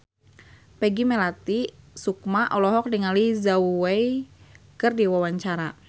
Peggy Melati Sukma olohok ningali Zhao Wei keur diwawancara